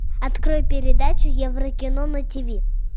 открой передачу еврокино на тиви